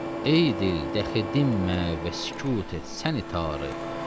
Ey dil, dəxilimmə və sükut et səni tanrı.